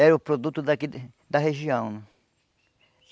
era o produto daqui da região.